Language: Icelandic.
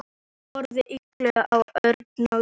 Hann horfði íhugull á Örn nálgast.